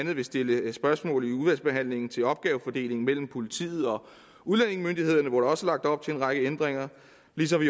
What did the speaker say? vil stille spørgsmål i udvalgsbehandlingen til opgavefordelingen mellem politiet og udlændingemyndighederne hvor der også er lagt op til en række ændringer ligesom vi